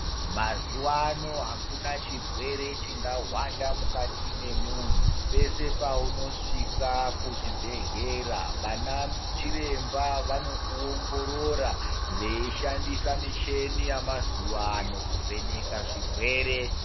Mazuwaano akuna chirwere chingahwanda mukati memunthu pese paunosvika kuzvibhedhlera vana chiremba vanokuongorora veishandisa micheni yamazuvaano kuvheneka zvirwere.